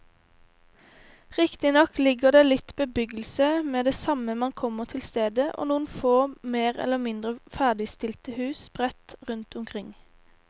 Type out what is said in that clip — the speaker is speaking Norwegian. Riktignok ligger det litt bebyggelse med det samme man kommer til stedet og noen få mer eller mindre ferdigstilte hus sprett rundt omkring.